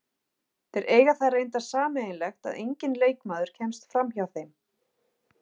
Þeir eiga það reyndar sameiginlegt að enginn leikmaður kemst framhjá þeim.